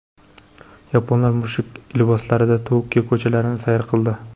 Yaponlar mushuk liboslarida Tokio ko‘chalarini sayr qildi.